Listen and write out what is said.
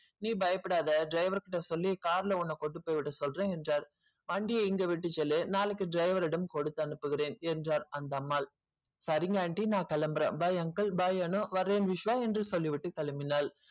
நீ பயப்படாத ஏன் driver கிட்ட சொல்லி car கொண்டு போய் விட சொல்றன் வண்டியே இங்கே விட்டு செல்லு நாளைக்கு driver யிடம் கொடுத்து அனுப்பிகிறேன் என்றால் அந்த அம்மா சரிங்க aunty நா கெளம்புறன் bye uncle bye அணு வரேன் விஸ்வ என்று சொல்லி விட்டு கெளம்பினால்